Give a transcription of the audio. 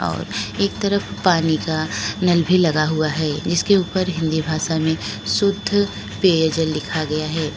और एक तरफ पानी का नल भी लगा हुआ है जिसके ऊपर हिंदी भाषा में शुद्ध पेयजल लिखा गया है।